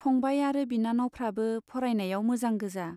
फंबाय आरो बिनानावफ्राबो फरायनायाव मोजां गोजा।